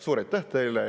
Suur aitäh teile!